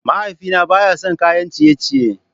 Mahaifina baya son kayan ciye-ciye.